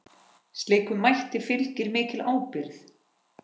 Slíkum mætti fylgir mikil ábyrgð.